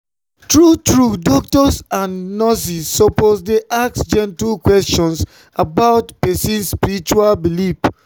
true true doctors and nurses suppose dey ask gentle questions about person spiritual belief.